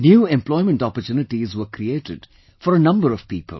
New employment opportunities were created for a number of people